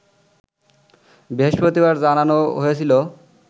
বৃহস্পতিবার জানানো হয়েছিল